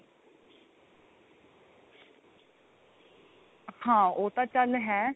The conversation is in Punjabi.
ਹਾਂ ਉਹ ਤਾਂ ਚੱਲ ਹੈ